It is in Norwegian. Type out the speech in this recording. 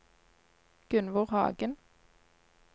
Gunnvor Hagen